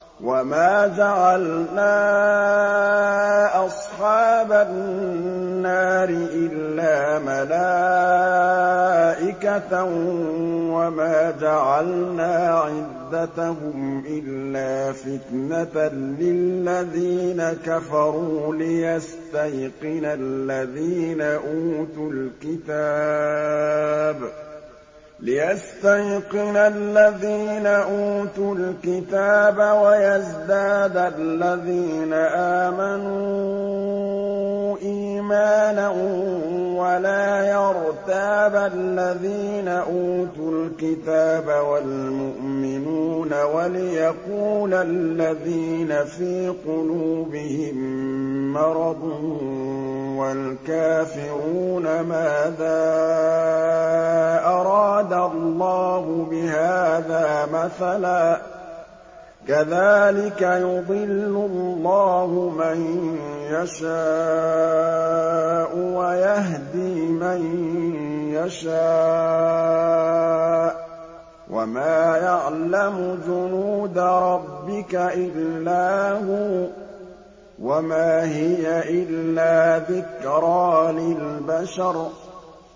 وَمَا جَعَلْنَا أَصْحَابَ النَّارِ إِلَّا مَلَائِكَةً ۙ وَمَا جَعَلْنَا عِدَّتَهُمْ إِلَّا فِتْنَةً لِّلَّذِينَ كَفَرُوا لِيَسْتَيْقِنَ الَّذِينَ أُوتُوا الْكِتَابَ وَيَزْدَادَ الَّذِينَ آمَنُوا إِيمَانًا ۙ وَلَا يَرْتَابَ الَّذِينَ أُوتُوا الْكِتَابَ وَالْمُؤْمِنُونَ ۙ وَلِيَقُولَ الَّذِينَ فِي قُلُوبِهِم مَّرَضٌ وَالْكَافِرُونَ مَاذَا أَرَادَ اللَّهُ بِهَٰذَا مَثَلًا ۚ كَذَٰلِكَ يُضِلُّ اللَّهُ مَن يَشَاءُ وَيَهْدِي مَن يَشَاءُ ۚ وَمَا يَعْلَمُ جُنُودَ رَبِّكَ إِلَّا هُوَ ۚ وَمَا هِيَ إِلَّا ذِكْرَىٰ لِلْبَشَرِ